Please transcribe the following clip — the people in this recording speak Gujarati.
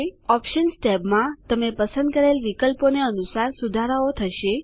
ઓપ્શન્સ ટેબમાં તમે પસંદ કરેલ વિકલ્પોને અનુસાર સુધારાઓ થશે